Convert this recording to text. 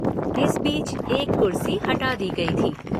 इस बीच एक कुर्सी हटा दी गई थी।